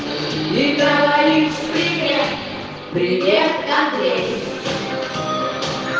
электролиз три дня привет андрей битов